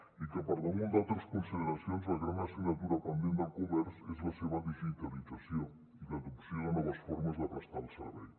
i per damunt d’altres consideracions la gran assignatura pendent del comerç és la seva digitalització i l’adopció de noves formes de prestar el servei